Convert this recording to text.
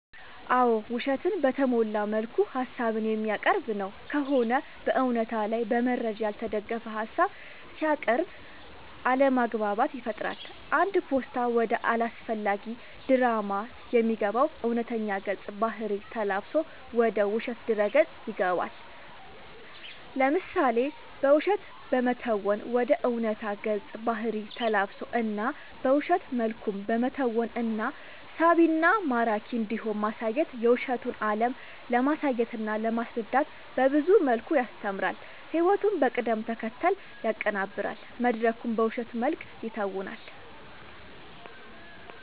አዎ ውሸትን በተሞላ መልኩ ሀሳብን የሚያቀርብ ነው ከሆነ በእውነታ ላይ በመረጃ ያልተደገፈ ሀሳብ ሲያቅርብ አለማግባባት ይፈጥራል አንድ ፓስታ ወደ አላስፈላጊ ድራማ የሚገባው እውነተኛ ገፀ ባህርይ ተላብሶ ወደ ውሸት ድረ ገፅ ይገባል። ለምሳሌ በውሸት በመተወን ወደ ዕውነታ ገፀ ባህሪ ተላብሶ እና በውሸት መልኩም በመተወን እና ሳቢና ማራኪ እንዲሆን ማሳየት የውሸቱን አለም ለማሳየትና ለማስረዳት በብዙ መልኩ ያስተምራል ህይወቱን በቅደም ተከተል ያቀናብራል መድረኩን በውሸት መልክ ይተውናል።…ተጨማሪ ይመልከቱ